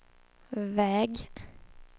väg